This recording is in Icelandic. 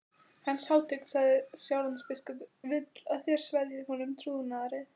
Hans hátign, sagði Sjálandsbiskup,-vill að þér sverjið honum trúnaðareið.